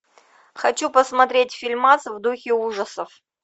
хочу посмотреть фильмас в духе ужасов